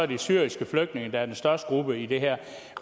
de syriske flygtninge der er den største gruppe i det her